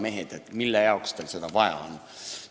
Mehed, mille jaoks teil seda vaja on?